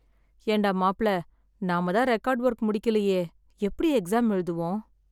ஏன்டா மாப்ள நாம தான் ரெகார்ட் ஒர்க் முடிக்கலையே எப்டி எக்ஸாம் எழுதுவோம்.